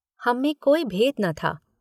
हममें कोई भेद न था।